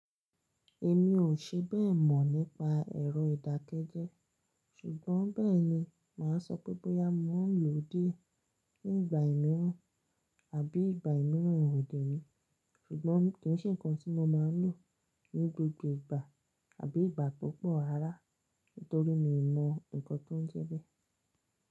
Èmi ò ṣe bẹ́ẹ̀ mọ̀ nípa ẹ̀rọ ìdákẹ́jẹ́, ṣùgbọ́n bẹ́ẹ̀ni màá sọ pé bóyá mo máa lò ó dé ní ìgbà mìíràn àbí ìgbà mìíràn òdi mi, ṣùgbọ́n kì í ṣe nǹkan tí mo máa lò ní gbogbo ìgbà àbí ìgbà púpọ̀ rará nitorí mi ò mọ nǹkan tó ń jẹ bẹ́ẹ̀